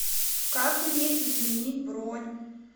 как мне изменить бронь